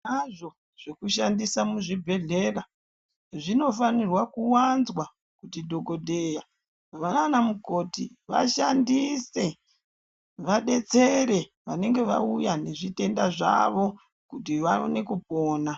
Hazvo zvekushandisa muzvibhehlera, zvinofanirwa kuwanzwa kuti dhokodheya, vananamukoti vashandise vadetsere vanange vauya nezvitenda, zvavo kuti vaone kupona.